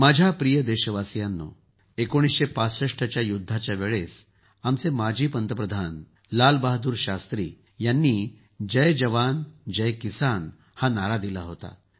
माझ्या प्रिय देशवासियांनो १९६५ च्या युद्धाच्या वेळेस आमचे माजी पंतप्रधान लालबहादूर शास्त्री यांनी जय जवान जय किसान हा नारा दिला होता